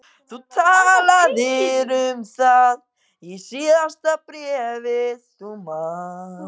Þú talaðir um það í síðasta bréfi, þú manst.